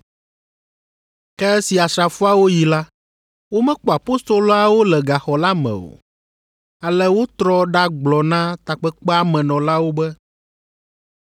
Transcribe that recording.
Ke esi asrafoawo yi la, womekpɔ apostoloawo le gaxɔ la me o, ale wotrɔ ɖagblɔ na takpekpea me nɔlawo be,